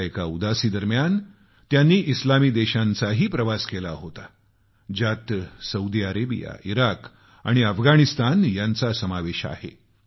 आपल्या एका उदासीदरम्यान त्यांनी इस्लामी देशांचाही प्रवास केला होता ज्यात सौदी अरेबिया इराक आणि अफगाणिस्तान यांचा समावेश आहे